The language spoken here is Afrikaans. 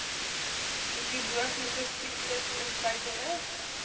hidrologiese siklus insluitende